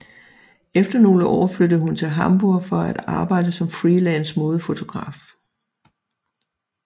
Efter nogle år flyttede hun til Hamburg for at arbejde som freelance modefotograf